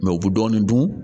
u bɛ dɔɔnin dun